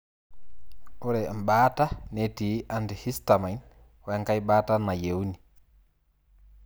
Ore ebataa netii antihistamine wenkae bataa nayeuni.